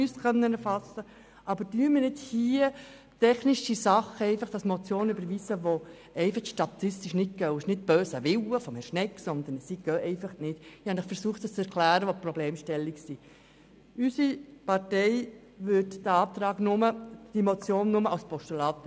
Aber setzen wir hier nicht irgendwie einen unmöglichen Weihnachtswunschkatalog in Form einer Motion, denn dies ist nicht umsetzbar.